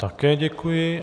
Také děkuji.